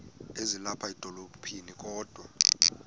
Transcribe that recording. ezilapha edolophini kodwa